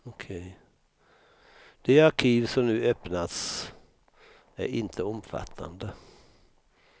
De arkiv som nu öppnats är inte omfattande.